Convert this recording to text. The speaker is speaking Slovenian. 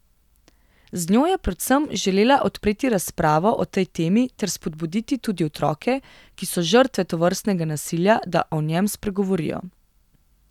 Z njo je predvsem želela odpreti razpravo o tej temi ter spodbuditi tudi otroke, ki so žrtve tovrstnega nasilja, da o njem spregovorijo.